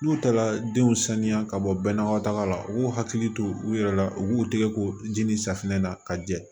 N'u taara denw saniya ka bɔ bɛnnaw taga la u k'u hakili to u yɛrɛ la u k'u tɛgɛ ko ji ni safunɛ na ka jɛ